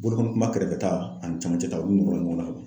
Bolokɔnikunba kɛrɛfɛ ta ani cɛmancɛ ta olu nɔrɔ la ɲɔgɔn na